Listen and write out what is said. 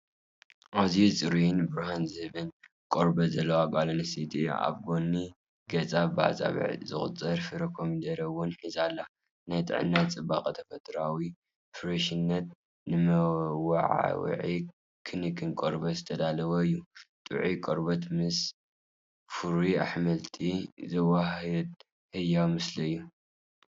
ኣዝዩ ጽሩይን ብርሃን ዝህብን ቆርበት ዘለዋ ጓል ኣንስተይቲ እያ። ኣብ ጎኒ ገጻ ብኣጻብዕ ዝቑጸር ፍሩይ ኮሚደረ እውን ሒዛ ኣላ። ናይ ጥዕና፣ ጽባቐን ተፈጥሮኣዊ ፍረሽነትን፣ ንመወዓውዒ ክንክን ቆርበት ዝተዳለወ እዩ። ጥዑይ ቆርበት ምስ ፍሩይ ኣሕምልቲ ዘወሃህድ ህያው ምስሊ እዩ።